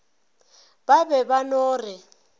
ba be ba no re